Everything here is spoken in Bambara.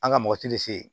An ka mɔgɔ ti se yen